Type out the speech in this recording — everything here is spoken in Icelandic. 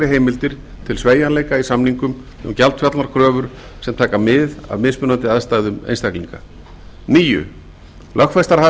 heimildir til sveigjanleika í samningum um gjaldfallnar kröfur sem taka mið af mismunandi aðstæðum einstaklinga níundi lögfestar hafa